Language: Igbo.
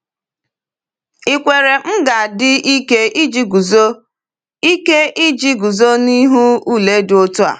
Ìkwere m ga-adị ike iji guzo ike iji guzo n’ihu ule dị otu a?